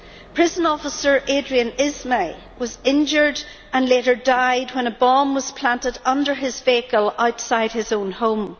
Prison officer Adrian Ismay was injured and later died when a bomb was planted under his vehicle outside his own home.